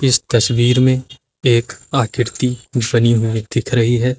इस तस्वीर में एक आकृति बनी हुई दिख रही है।